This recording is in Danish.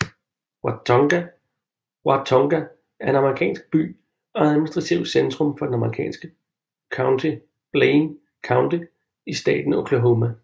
Watonga er en amerikansk by og administrativt centrum for det amerikanske county Blaine County i staten Oklahoma